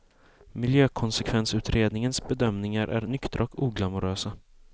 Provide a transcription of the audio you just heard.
Miljökonsekvensutredningens bedömningar är nyktra och oglamorösa.